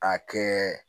A kɛ